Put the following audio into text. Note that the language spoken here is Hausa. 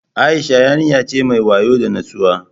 Aisha yarinya ce mai wayo da nutsuwa